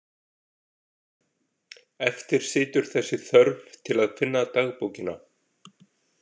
Eftir situr þessi þörf til að finna dagbókina.